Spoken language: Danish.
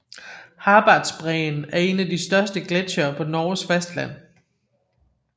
Harbardsbreen er en af de største gletsjere på Norges fastland